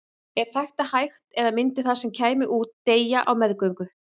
Er þetta hægt eða myndi það sem kæmi út deyja á meðgöngu?